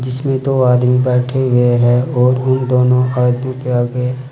इसमें दो आदमी बैठे हुए हैं और उन दोनों आदमी के आगे--